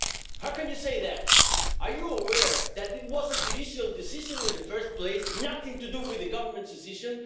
How can you say that? Are you aware that it was a judicial decision in the first place and nothing to do with the Government's decision?